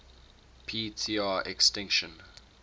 p tr extinction